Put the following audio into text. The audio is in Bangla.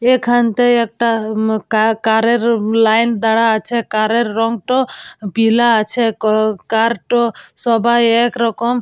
এখানটায় একটা উম কার কারের লাইন দাঁড়া আছে কারের রং তো পিলা আছে ক কারটো সবাই এক রকম।